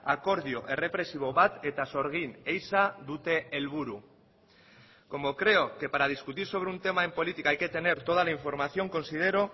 akordio errepresibo bat eta sorgin ehiza dute helburu como creo que para discutir sobre un tema en política hay que tener toda la información considero